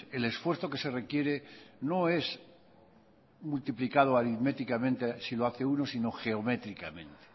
el esfuerzo que se requiere no es multiplicado aritméticamente si lo hace uno sino geométricamente